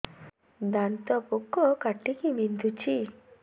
ଦାନ୍ତ ପୋକ କାଟିକି ବିନ୍ଧୁଛି